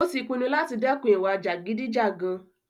Ó tí pinnu láti dẹ́kun ìwà jàgídíjàgan.